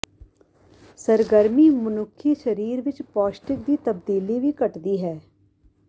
ਸਰਗਰਮੀ ਮਨੁੱਖੀ ਸਰੀਰ ਵਿੱਚ ਪੌਸ਼ਟਿਕ ਦੀ ਤਬਦੀਲੀ ਵੀ ਘਟਦੀ ਹੈ